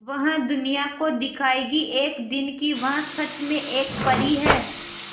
वह दुनिया को दिखाएगी एक दिन कि वह सच में एक परी है